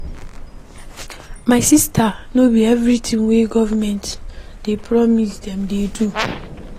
My sista no be everytin wey government dey promise dem dey do o.